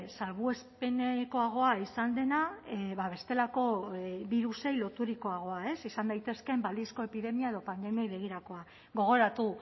salbuespenekoagoa izan dena bestelako birusei loturikoagoa izan daitezkeen balizko epidemia edo pandemiei begirakoa gogoratu